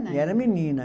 Era menina.